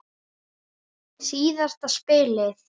Síðasta spilið.